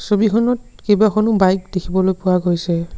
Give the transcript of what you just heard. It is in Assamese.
ছবিখনত কেইবাখনো বাইক দেখিবলৈ পোৱা গৈছে।